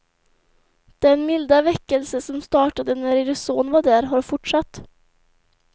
Den milda väckelse som startade när er son var där, har fortsatt.